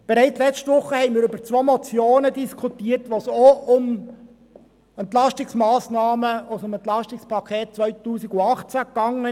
Bereits letzte Woche haben wir über zwei Motionen diskutiert, bei welchen es ebenfalls um Entlastungsmassnahmen aus dem EP 18 ging.